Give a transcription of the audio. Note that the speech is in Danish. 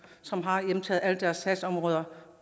som har hjemtaget alle deres sagsområder